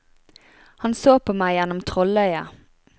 Han så på meg gjennom trolløyet.